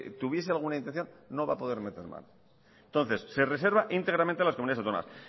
tuviese alguna intención no va a poder meter mano entonces se reserva íntegramente a las comunidades autónomas